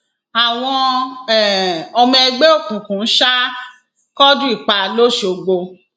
àwọn um ọmọ ẹgbẹ òkùnkùn sá quadri pa lọsgbọ